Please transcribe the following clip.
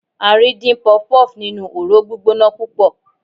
a rí din puff-puff ninu ọrọ gbígbóná púpò